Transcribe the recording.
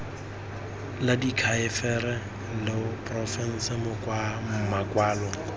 la diakhaefe la porofense makwalo